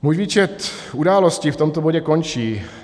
Můj výčet událostí v tomto bodě končí.